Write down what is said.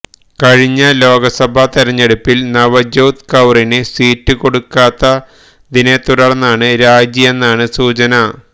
കഴിഞ്ഞ ലോക്സഭാ തെരഞ്ഞെടുപ്പില് നവജ്യോത് കൌറിന് സീറ്റ് കൊടുക്കാത്തതിനെത്തുടര്ന്നാണ് രാജിയെന്നാണ് സൂചന